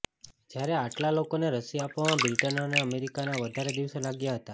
જ્યારે આટલા લોકોને રસી આપવામાં બ્રિટન અને અમેરિકાને વધારે દિવસો લાગ્યા હતા